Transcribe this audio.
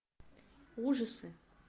ужасы